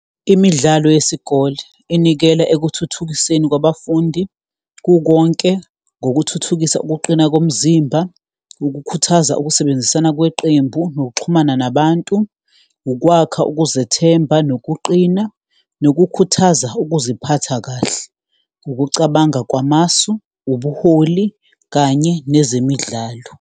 Imidlalo yesikole inikela ekuthuthukiseni kwabafundi kukonke, ngokuthuthukisa ukuqina komzimba, ukukhuthaza ukusebenzisana kweqembu, nokuxhumana nabantu, ukwakha ukuzethemba, nokuqina, nokukhuthaza ukuziphatha kahle, ukucabanga kwamasu, ubuholi, kanye nezemidlalo.